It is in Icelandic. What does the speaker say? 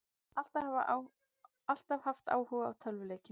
Alltaf haft áhuga á tölvuleikjum